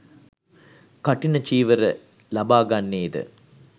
කඨින චීවර ලබාගන්නේ ද